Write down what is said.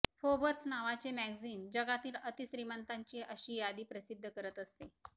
Forbes नावाचे magazine जगातील अतिश्रीमंतांची अशी यादी प्रसिद्ध करत असते